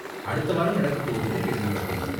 அடுத்த வாரம் நடக்கப் போகுதுனு கேள்விப்பட்டேன்.